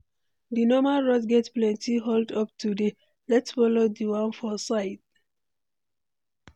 Di normal route get plenty hold up today, let’s follow di one for side.